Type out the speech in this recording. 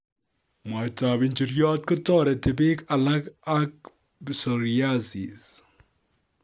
Mwaitab injiriot kotereti bik alak ak psoriasis